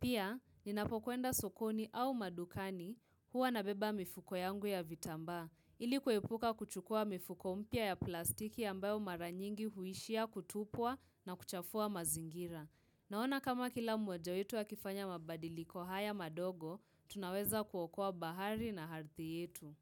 Pia, ninapo kwenda sokoni au madukani huwa nabeba mifuko yangu ya vitambaa, ili kuepuka kuchukua mifuko mpya ya plastiki ambayo mara nyingi huishia kutupwa na kuchafua mazingira. Naona kama kila mmoja wetu akifanya mabadiliko haya madogo, tunaweza kuokoa bahari na ardhi hitu.